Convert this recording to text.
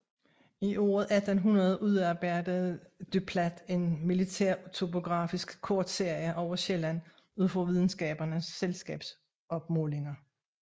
I året 1800 udarbejdede du Plat en militærtopografisk kortserie over Sjælland ud fra Videnskabernes Selskabs opmålinger